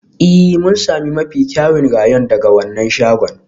Ee, mun sami mafi kyawun rayon daga wannan shagon.